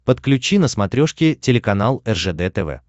подключи на смотрешке телеканал ржд тв